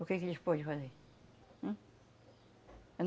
O que que eles podem fazer? Hum?